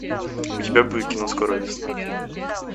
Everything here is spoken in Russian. у тебя будет кино скоро весна